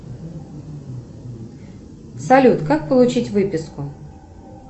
салют как получить выписку